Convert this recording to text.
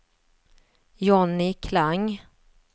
Johnny Klang